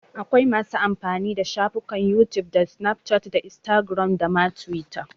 Akwai masu amfani da shafukan youtube da snapchat da instagram da ma twitter.